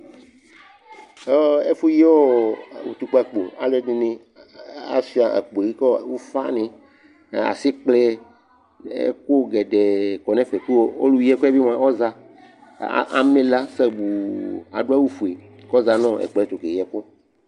Ɛfʋyi ɔ utukpǝkpo Alʋɛdɩnɩ a asʋɩa akpo yɛ kʋ ɔ ʋfanɩ nʋ asɩkplɛ, ɛkʋ gɛdɛɛ kɔ nʋ ɛfɛ kʋ ɔlʋyi ɛkʋ yɛ bɩ mʋa, ɔya kʋ a amɛ ɩla sabuu Adʋ awʋfue kʋ ɔya nʋ ɛkplɔ yɛ tʋ keyi ɛkʋ